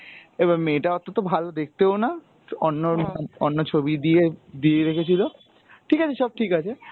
এবার মেয়েটা অতো তো দেখতে ভালো দেখতেও না অন্য অন্য ছবি দিয়ে, দিয়ে রেখছিল ঠিক আছে সব ঠিক আছে,